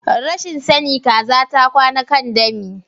Rashin sani Kaza ta kwana kan dami.